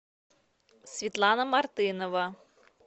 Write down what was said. светлана мартынова